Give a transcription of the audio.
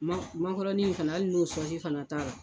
Ma makɔrɔni in fana hali n'o sɔsi fana t'a la.